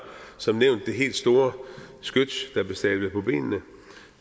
som nævnt det helt store skyts der blev stablet på benene